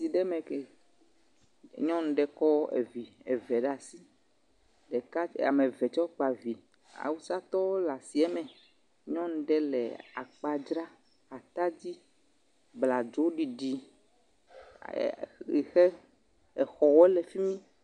Nyɔnu ɖe kɔ evi eve ɖe asi, ɖeka.. ame eve tsɛ kpa vi, awusatɔwo le asie me, nyɔnu ɖe le akpa dzra, abladzoɖiɖi, yike exɔwo le fi mi….